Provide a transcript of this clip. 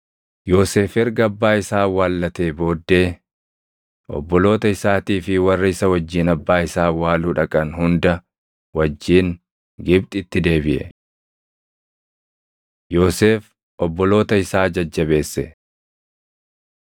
Yoosef erga abbaa isaa awwaallatee booddee obboloota isaatii fi warra isa wajjin abbaa isaa awwaaluu dhaqan hunda wajjin Gibxitti deebiʼe. Yoosef Obboloota Isaa Jajjabeesse